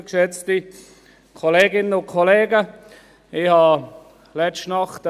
Ich hatte letzte Nacht etwas Bauchschmerzen.